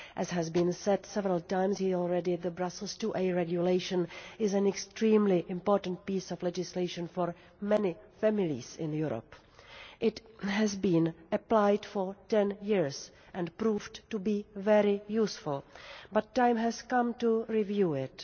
As has been said several times already, the Brussels IIa Regulation is an extremely important piece of legislation for many families in Europe. It has been applied for ten years and has proved to be very useful, but the time has come to review it.